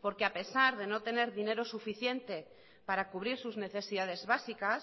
porque a pesar de no tener dinero suficiente para cubrir sus necesidades básicas